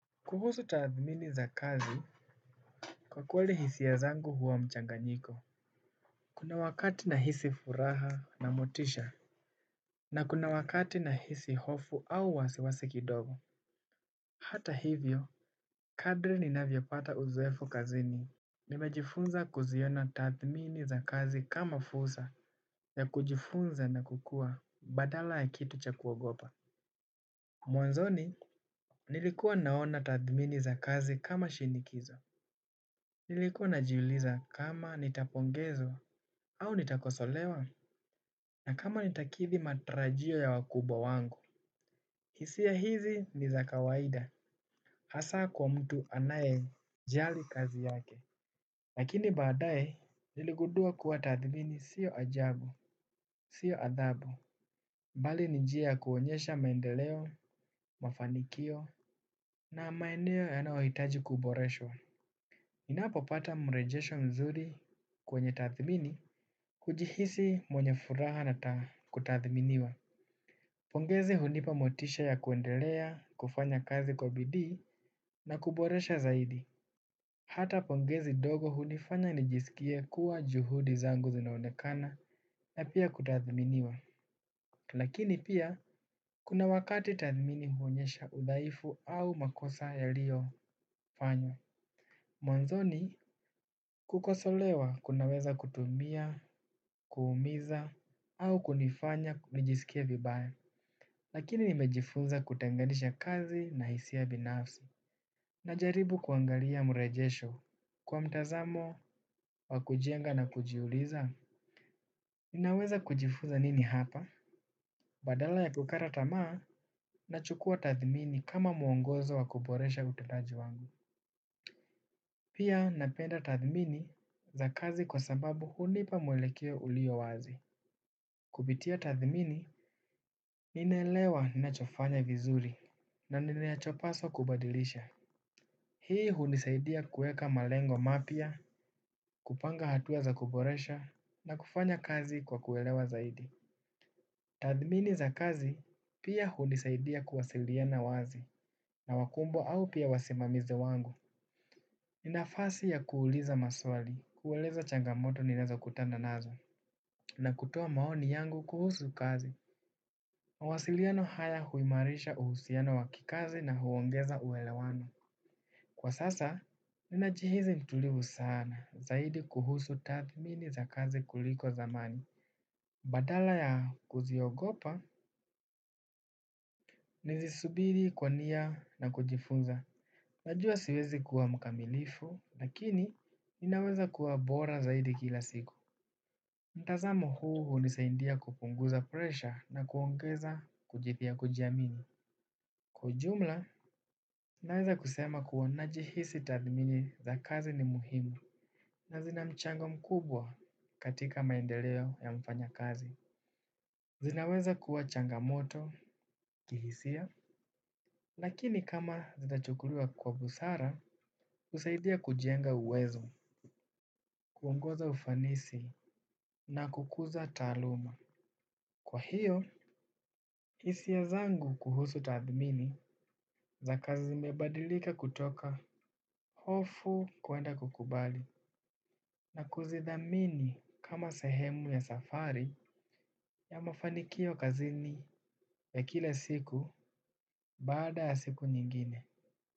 Kuhusu tathmini za kazi, kwa kweli hisia zangu huwa mchanganyiko. Kuna wakati nahisi furaha na motisha. Na kuna wakati nahisi hofu au wasiwasi kidogo. Hata hivyo kadri ninavyopata uzoefu kazini nimejifunza kuziona tathmini za kazi kama fursa ya kujifunza na kukua badala ya kitu cha kuogopa. Mwanzoni nilikuwa naona tathmini za kazi kama shinikizo. Nilikuwa najiuliza kama nitapongezwa au nitakosolewa, na kama nitakithi matarajio ya wakubwa wangu. Hisia hizi ni za kawaida hasa kwa mtu anayejali kazi yake. Lakini baadae niligundua kuwa tathimini sio ajabu, sio adhabu. Mbali ni njia ya kuonyesha maendeleo, mafanikio na maeneo yanayohitaji kuboreshwa. Ninapopata mrejesho mzuri kwenye tathimini, hujihisi mwenye furaha na kutathminiwa. Pongezi hunipa motisha ya kuendelea, kufanya kazi kwa bidii na kuboresha zaidi. Hata pongezi ndogo hunifanya nijisikie kuwa juhudi zangu zinaonekana na pia kutathminiwa. Lakini pia, kuna wakati tathmini huonyesha udhaifu au makosa yaliyofanywa. Mwanzoni, kukosolewa kunaweza kutumia, kuumiza au kunifanya nijisikie vibaya. Lakini nimejifunza kutenganisha kazi na hisia binafsi. Najaribu kuangalia mrejesho kwa mtazamo wa kujenga na kujiuliza, ninaweza kujifunza nini hapa? Badala ya kukata tamaa nachukua tathmini kama mwongozo wa kuboresha utendaji wangu. Pia napenda tathmini za kazi kwa sababu hunipa mwelekeo ulio wazi. Kupitia tathmini, ninaelewa ninachofanya vizuri na ninachopaswa kubadilisha. Hii hunisaidia kuweka malengo mapya, kupanga hatua za kuboresha na kufanya kazi kwa kuelewa zaidi. Tathmini za kazi pia hunisaidia kuwasiliana wazi na wakumbwa au pia wasimamizi wangu. Ni nafasi ya kuuliza maswali, kueleza changamoto ninaweza kutana nazo, na kutoa maoni yangu kuhusu kazi. Mawasiliano haya huimarisha uhusiano wa kikazi na huongeza uelewano. Kwa sasa, ninajihisi mtulivu sana, zaidi kuhusu tathmini za kazi kuliko zamani. Badala ya kuziogopa, nizisubiri kwa nia na kujifunza. Najua siwezi kuwa mkamilifu, lakini ninaweza kuwa bora zaidi kila siku. Mtazamo huu hunisaidia kupunguza presha na kuongeza kujiamini. Kwa ujumla, naweza kusema kuwa najihisi tathmini za kazi ni muhimu. Na zina mchango mkubwa katika maendeleo ya mfanyakazi. Zinaweza kuwa changamoto kihisia, lakini kama zitachukuliwa kwa busara, husaidia kujenga uwezo. Kuongoza ufanisi na kukuza taaluma. Kwa hiyo, hisia zangu kuhusu tathmini za kazi zimebadilika kutoka hofu kuenda kukubali na kuzidhamini kama sehemu ya safari ya mafanikio kazini ya kila siku. Baada ya siku nyingine.